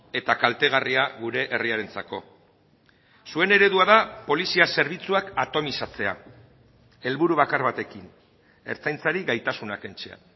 eta kaltegarria gure herriarentzako zuen eredua da polizia zerbitzuak atonizatzea helburu bakar batekin ertzaintzari gaitasuna kentzea